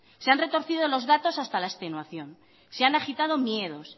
se han retorcido los datos hasta la extenuación se han agitado miedos